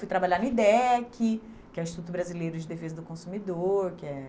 Fui trabalhar no IDEC, que é o Instituto Brasileiro de Defesa do Consumidor, que é...